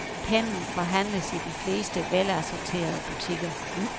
Pennen forhandles i de fleste velassorterede butikker.